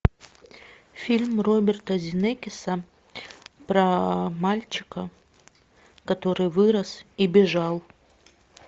фильм роберта земекиса про мальчика который вырос и бежал